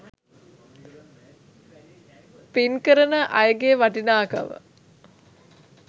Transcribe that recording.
පින් කරන අයගේ වටිනාකම